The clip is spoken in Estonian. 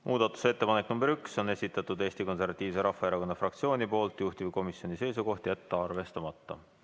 Muudatusettepaneku nr 1 on esitanud Eesti Konservatiivse Rahvaerakonna fraktsioon, juhtivkomisjoni seisukoht on jätta arvestamata.